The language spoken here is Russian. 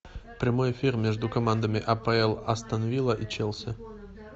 прямой эфир между командами апл астон вилла и челси